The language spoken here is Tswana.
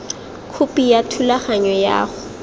khopi ya thulaganyo ya go